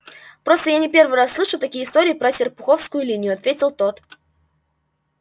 просто я не первый раз слышу такие истории про серпуховскую линию ответил тот